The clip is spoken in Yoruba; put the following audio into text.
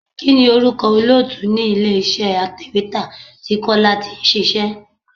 Kini orúkọ olóòtú ni ilé iṣẹ́ atèwétà tí Kọ́lá tí ń ṣíṣe?